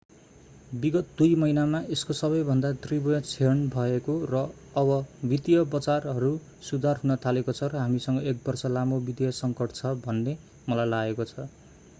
विगत दुई महिनामा यसको सबैभन्दा तीव्र क्षण भएको र अब वित्तीय बजारहरू सुधार हुन थालेको छ र हामीसँग एक बर्ष लामो वित्तीय सङ्कट छ भन्ने मलाई लागेको छ